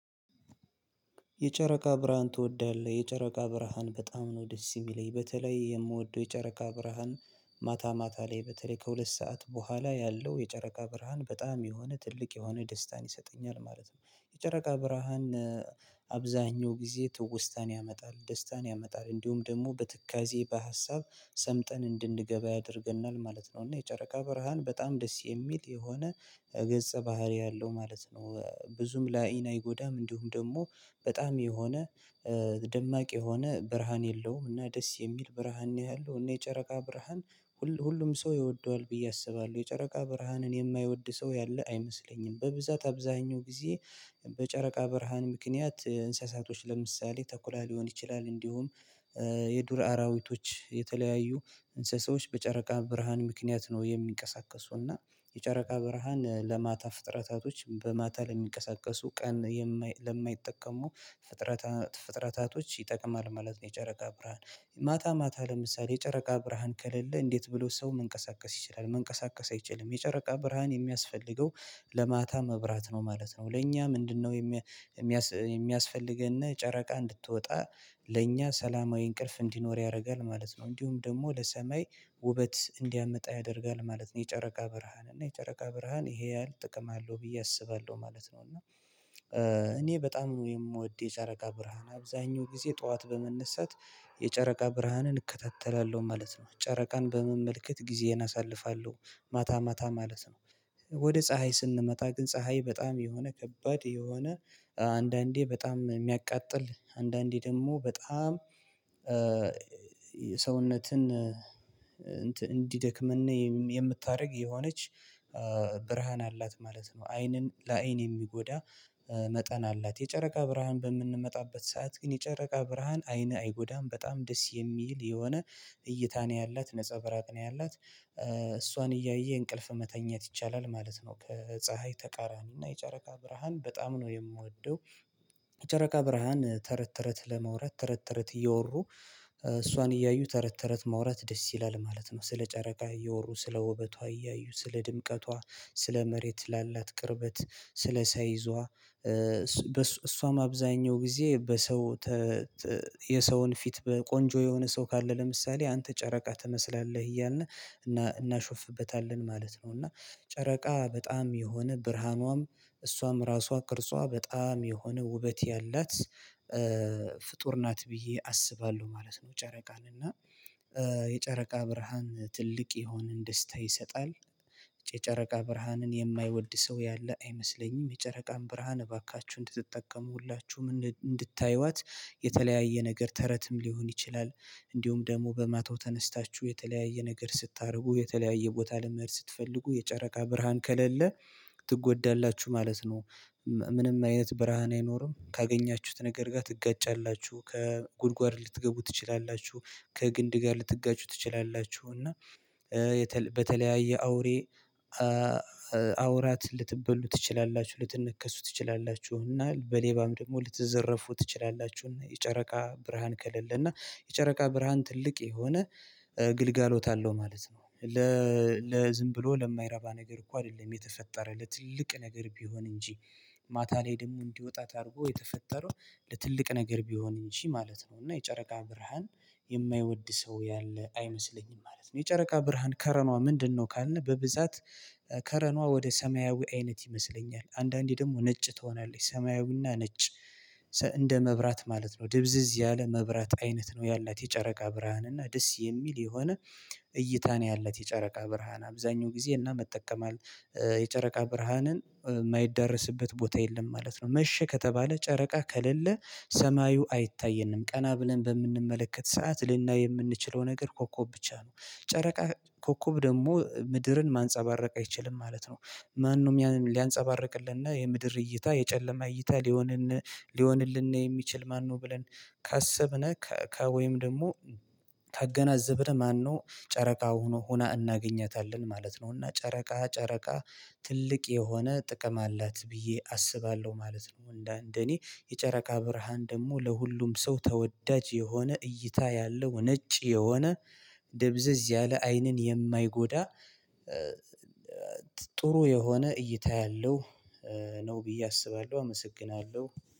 የጨረቃ ብርሃን ትወዳለህ? የጨረቃ ብርሃን በጣም ነው ደስ የሚለኝ። በተለይ የምወደው የጨረቃ ብርሃን ማታ ማታ ላይ በተለይ ከሁለት ሰዓት በኋላ ያለው የጨረቃ ብርሃን በጣም የሆነ ትልቅ የሆነ ደስታን ይሰጠኛል ማለት ነው። የጨረቃ ብርሃን አብዛኛው ጊዜ ትውስታን ያመጣል፣ ደስታን ያመጣል እንዲሁም ደግሞ በትካዜ በሀሳብ ሰምጠን እንድንገባ ያደርገናል ማለት ነው እና የጨረቃ በረሃን በጣም ደስ የሚል የሆነ ገጸ ባህሪ አለው ማለት ነው። ብዙም ለ አይን አይጎዳም እንዲሁም ደግሞ በጣም የሆነ ደማቅ የሆነ ብርሃን የለውም እና ደስ የሚል ብርሃን ነው ያለሁ እና የጨረቃ ብርሃን ሁሉ ሁሉም ሰው ይወደዋል ብዬ አስባለሁ። የጨረቃ ብርሃንን የማይወድ ሰው ያለ አይመስለኝም። በብዛት አብዛኛው ጊዜ በጨረቃ በረሃን ምክንያት እንስሳቶች ለምሳሌ ተኩላ ሊሆን ይችላል እንዲሁም የዱር አራዊቶች የተለያዩ እንስሳዎች በጨረቃ ብርሃን ምክንያት ነው የሚንቀሳቀሱና የጨረቃ ብርሃን ለማታ ፍጥረታቶች በማታ ለሚቀሰቀሱ ቀን ለማይጠቀሙ ፍጥረታ ፍጥረታቶች ይጠቅማል ማለት ነው የጨረቃ ብርሃን። ማታ ማታ ለምሳሌ የጨረቃ ብርሃን ከለለ እንዴት ብሎ ሰው መንቀሳቀስ ይችላል? መንቀሳቀስ አይችልም። የጨረቃ ብርሃን የሚያስፈልገው ለማታ መብራት ነው ማለት ነው። ለኛ ምንድነው የሚያስ የሚያስፈልገን ጨረቃ እንድትወጣ ለእኛ ሰላማዊ እንቅልፍ እንዲኖር ያደርጋል ማለት ነው። እንዲሁም ደግሞ ለሰማይ ውበት እንዲያመጣ ያደርጋል ማለት ነው የጨረቃ ብርሃን እና የጨረቃ ብርሃን ይሄ ያህል ጥቅም አለው ብዬ አስባለሁ ማለት ነው እና እኔ በጣም የምወደው የጨረቃ ብርሃን አብዛኛው ጊዜ ጠዋት በመነሳት የጨረቃ ብርሃንን እከታተላለሁ ማለት ነው። ጨረቃን በመመልከት ጊዜን አሳልፋለሁ ማታ ማታ ማለት ነው። ወደ ፀሀይ ስንመጣ ግን ፀሀይ በጣም የሆነ ከባድ የሆነ አንዳንዴ በጣም የሚያቃጥል አንዳንዴ ደግሞ በጣም ሰውነትን እንዲደክምና የምታደርግ የሆነች ብርሃን አላት ማለት ነው። አይንን ለአይን የሚጎዳ መጠን አላት። የጨረቃ ብርሃን በምንመጣበት ሰዓት ግን የጨረቃ ብርሃን አይን አይጎዳም። በጣም ደስ የሚል የሆነ እይታ ነው ያላት ነፃ ብራቅ ነው ያላት። እሷን እያየ እንቅልፍ መተኛት ይቻላል ማለት ነው ጅ። ከፀሀይ ተቃራኒ እና የጨረቃ ብርሃን በጣም ነው የምወደው። የጨረቃ ብርሃን ተረት ተረት ለመውረድ ተረት ተረት እየወሩ እሷን እያዩ ተረት ተረት ማውራት ደስ ይላል ማለት ነው። ስለ ጨረቃ እየወሩ፣ ስለ ውበቷ እያዩ፣ ስለ ድምቀቷ፣ ስለ መሬት ላላት ቅርበት፣ ስለ ሳይዟ እሷም አብዛኛው ጊዜ በሰው የሰውን ፊት ቆንጆ የሆነ ሰው ካለ ለምሳሌ አንተ ጨረቃ ትመስላለህ እያልን እናሾፍበታለን ማለት ነው እና ጨረቃ በጣም የሆነ ብርሃኗም እሷም ራሷ ቅርጿ በጣም የሆነ ውበት ያላት ፍጡር ናት ብዬ አስባለሁ ማለት ነው ጨረቃን እና የጨረቃ ብርሃን ትልቅ የሆነን ደስታ ይሰጣል። የጨጨረቃ ብርሃንን የማይወድ ሰው ያለ አይመስለኝም። የጨረቃን ብርሃን እባካችሁ እንድትጠቀሙላችሁ ምን እንድታዩዋት የተለያየ ነገር ተረትም ሊሆን ይችላል እንዲሁም ደግሞ በማታው ተነስታችሁ የተለያየ ነገር ስታደርጉ የተለያየ ቦታ ለመሄድ ስትፈልጉ የጨረቃ ብርሃን ከለለ ትጎዳላችሁ ማለት ነው። ምንም አይነት ብርሃን አይኖርም። ካገኛችሁት ነገር ጋር ትጋጫላችሁ። ከጉድጓድ ልትገቡ ትችላላችሁ። ከግንድ ጋር ልትጋጩ ትችላላችሁ እና በተለያየ አውሬ አውራት ልትበሉ ትችላላችሁ። ልትነከሱ ትችላላችሁና በሌባም ደግሞ ልትዘረፉ ትችላላችሁና የጨረቃ ብርሃን ከሌለ እና የጨረቃ ብርሃን ትልቅ የሆነ ግልጋሎት አለው ማለት ነው። ለዝም ብሎ ለማይረባ ነገር እኮ አይደለም የተፈጠረ ለትልቅ ነገር ቢሆን እንጂ። ማታ ላይ ደግሞ እንዲወጣ ታርጎ የተፈጠረው ለትልቅ ነገር ቢሆን እሺ ማለት ነው እና የጨረቃ ብርሃን የማይወድ ሰው ያለ አይመስለኝም ማለት ነው። የጨረቃ ብርሃን ከረኗ ምንድነው ካልነው በብዛት ከረኗ ወደ ሰማያዊ አይነት ይመስለኛል። አንዳንዴ ደግሞ ነጭ ትሆናለች ሰማያዊና ነጭ እንደ መብራት ማለት ነው። ድብዝዝ ያለ መብራት አይነት ነው። ያላት የጨረቃ ብርሃን እና ደስ የሚል የሆነ እይታ ነው ያለት የጨረቃ ብርሃን አብዛኛው ጊዜ እና መጠቀም የጨረቃ ብርሃንን የማይዳረስበት ቦታ የለም ማለት ነው። መሸ ከተባለ ጨረቃ ከሌለ ሰማዩ አይታየንም። ቀና ብለን በምንመለከት ሰዓት ልናይ የምንችለው ነገር ኮኮብ ብቻ ነው። ጨረቃ ኮኮብ ደግሞ ምድርን ማንፀባረቅ አይችልም ማለት ነው። ማንም ሊያንፀባርቅልንና የምድር እይታ የጨለማ እይታ ሊሆንልን ሊሆንልን የሚችል ማነው ብለን ካሰብነው ከወይም ደግሞ ተገናዘብን ማነው ጨረቃ ሆኖ ሆና እናገኛታለን ማለት ነው እና ጨረቃ ጨረቃ ትልቅ የሆነ ጥቅም አላት ብዬ አስባለሁ ማለት ነው። እንደ እንደ እኔ የጨረቃ ብርሃን ደግሞ ለሁሉም ሰው ተወዳጅ የሆነ እይታ ያለው ነጭ የሆነ ደብዘዝ ያለ አይንን የማይጎዳ ጥሩ የሆነ እይታ ያለው ነው ብዬ አስባለሁ አመሰግናለሁ።